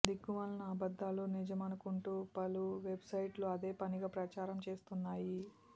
దిక్కుమాలిన అబద్దాలు నిజమనుకుంటూ పలు వెబ్ సైట్లు అదే పనిగా ప్రచారం చేస్తున్నాయి